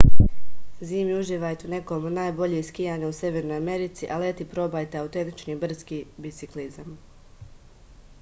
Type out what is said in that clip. zimi uživajte u nekom od najboljih skijanja u severnoj americi a leti probajte autentični brdski biciklizam